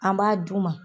An b'a d'u ma